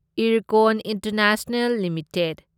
Ircon international limited